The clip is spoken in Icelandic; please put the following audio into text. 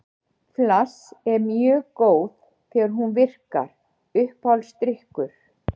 Flass er mjög góð þegar hún virkar Uppáhaldsdrykkur?